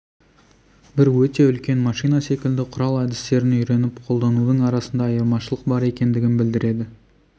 бір өте үлкен машина секілді құрал әдістерін үйреніп қолданудың арасында айырмашылық бар екендігін білдіреді